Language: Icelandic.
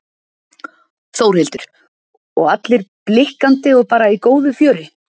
Þórhildur: Og allir blikkandi og bara í góðu fjöri?